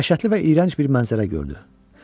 Dəhşətli və iyrənc bir mənzərə gördü.